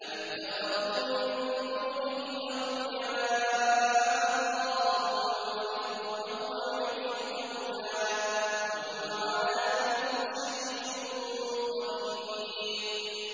أَمِ اتَّخَذُوا مِن دُونِهِ أَوْلِيَاءَ ۖ فَاللَّهُ هُوَ الْوَلِيُّ وَهُوَ يُحْيِي الْمَوْتَىٰ وَهُوَ عَلَىٰ كُلِّ شَيْءٍ قَدِيرٌ